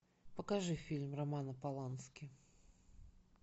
покажи фильм романа полански